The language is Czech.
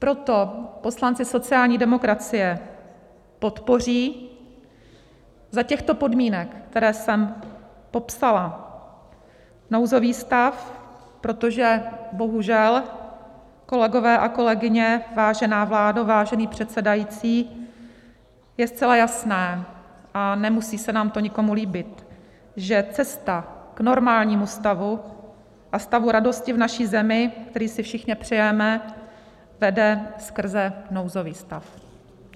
Proto poslanci sociální demokracie podpoří za těchto podmínek, které jsem popsala, nouzový stav, protože bohužel, kolegyně a kolegové, vážená vládo, vážený předsedající, je zcela jasné, a nemusí se nám to nikomu líbit, že cesta k normálnímu stavu a stavu radosti v naší zemi, který si všichni přejeme, vede skrze nouzový stav.